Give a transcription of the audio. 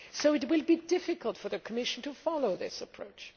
It will be difficult for the Commission to follow this approach.